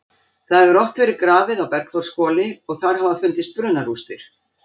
Það hefur oft verið grafið á Bergþórshvoli og þar hafa fundist brunarústir.